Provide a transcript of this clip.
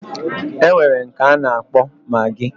Enwere nke ana akpo maggi